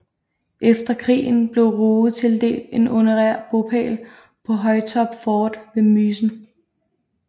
Efter krigen blev Ruge tildelt en honorær bopæl på Høytorp fort ved Mysen